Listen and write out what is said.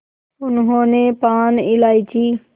उन्होंने पान इलायची